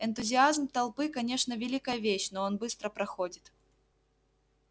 энтузиазм толпы конечно великая вещь но он быстро проходит